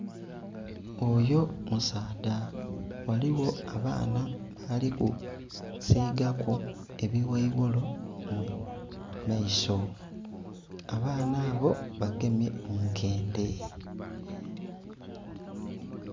Oyo musaadha ghaligho abaana bali kusiigaku ebiwaiwoli mu maiso abaana abo bagemye munkendhe.